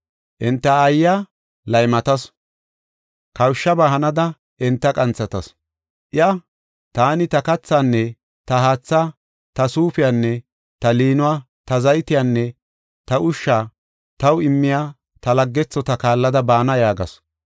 Enta aayiya laymatasu; kawushabaa hanada enta qanthatasu. Iya, ‘Taani ta kathaanne ta haatha, ta suufiyanne ta liinuwa, ta zaytiyanne ta ushsha taw immiya ta laggethota kaallada baana’ yaagasu.